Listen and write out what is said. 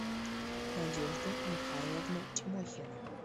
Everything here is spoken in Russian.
надежда михайловна тимохина